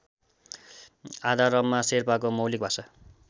आधारमा शेर्पाको मौलिक भाषा